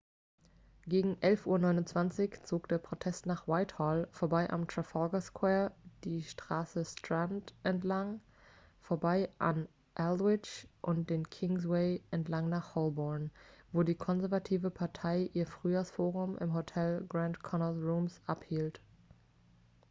gegen 11.29 uhr zog der protest nach whitehall vorbei am trafalgar square die straße strand entlang vorbei an aldwych und den kingsway entlang nach holborn wo die konservative partei ihr frühjahrsforum im hotel grand connaught rooms abhielt